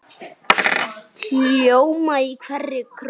hljóma í hverri kró.